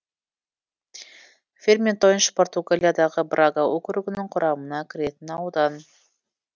ферментойнш португалиядағы брага округінің құрамына кіретін аудан